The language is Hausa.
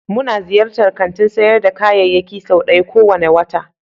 Muna ziyartar kantin sayar da kayayyaki sau ɗaya kowane wata.